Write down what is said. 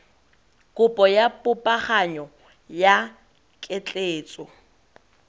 kopo ya popaganyo ya ketleetso